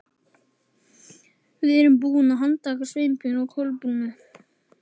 Við erum búin að handtaka Sveinbjörn og Kolbrúnu.